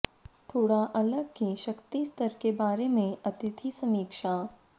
थोड़ा अलग की शक्ति स्तर के बारे में अतिथि समीक्षा